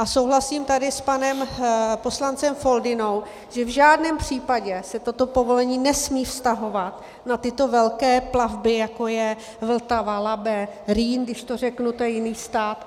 A souhlasím tady s panem poslancem Foldynou, že v žádném případě se toto povolení nesmí vztahovat na tyto velké plavby, jako je Vltava, Labe, Rýn, když to řeknu, to je jiný stát...